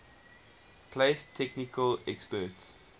place technical experts